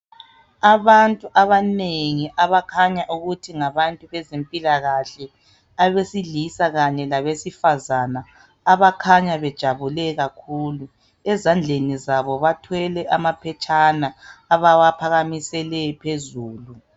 Abantu abanengi abakhanya ukuthi ngabantu bezempilakahle. Abesilisa kanye labesifazane abakhanya bejabule kakhulu. Ezandleni zabo bathwele amaphetshana abawaphakamisele phezulu.